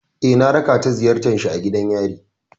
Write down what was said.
Eh, na raka ta ziyartar shi a gidan yari.